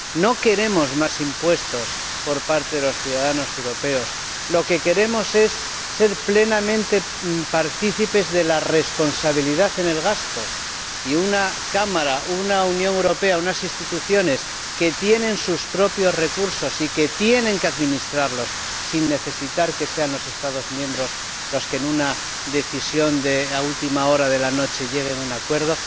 No queremos que los ciudadanos europeos paguen más impuestos. Lo que queremos es ser plenamente partícipes de la responsabilidad en el gasto, y ser un Parlamento, una Unión Europea, unas instituciones que tienen sus propios recursos y que tienen que administrarlos sin necesitar que sean los Estados miembros los que en una decisión a última hora de la noche lleguen a un acuerdo.